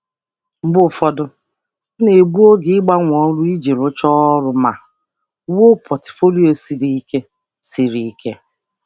Mgbe ụfọdụ, ana m egbu oge ịgbanwe ọrụ iji mechaa ọrụ ma wulite akwụkwọ ọrụ siri ike karị.